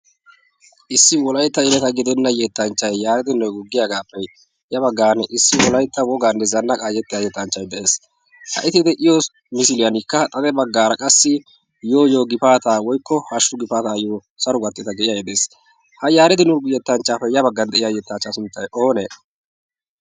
issi wolaytta yeleta gidenna yettanchchay yaaradi nega yagiyiyogaagaappe ya baggan issi wolaytta woganne zannaqqaayetti yettanchchay de'ees. ha eti de'iyo misiiliyaankka xade baggaara qassi yooyo gifaataa woykko hashshu gifaataayyo saro gakkteta giyage de'ees. ha yaaredi nagi yettanchchaappe ya baggan de'iya yettaachchaa sunttay oonee?